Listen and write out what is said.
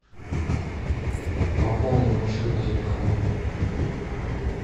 пополни мой счет на телефоне